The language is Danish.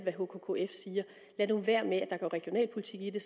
hkkf siger lad nu være med at lade der gå regionalpolitik i det